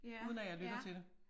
Uden at jeg lytter til det